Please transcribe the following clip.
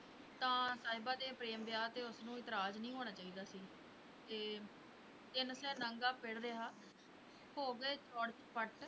ਤਾਂ ਸਾਹਿਬਾਂ ਦੇ ਪ੍ਰੇਮ ਵਿਆਹ 'ਤੇ ਵੀ ਉਸਨੂੰ ਇਤਰਾਜ਼ ਨਹੀਂ ਹੋਣਾ ਚਾਹੀਦਾ ਸੀ, ਤੇ ਤਿੰਨ ਸੈ ਨਾਂਗਾ ਪਿੜ ਰਿਹਾ, ਹੋ ਗਏ ਚੌੜ ਚੁਪੱਟ।